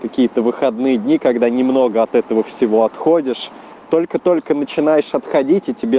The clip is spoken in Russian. какие-то выходные дни когда немного от этого всего отходишь только-только начинаешь отходить и тебе